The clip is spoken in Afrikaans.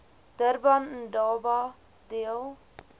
durban indaba deel